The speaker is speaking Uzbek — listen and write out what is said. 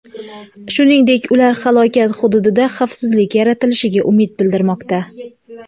Shuningdek, ular halokat hududida xavfsizlik yaratilishiga umid bildirmoqda.